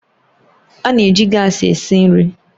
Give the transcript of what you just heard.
A na-eji gaasi esi nri